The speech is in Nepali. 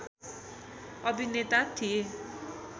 अभिनेता थिए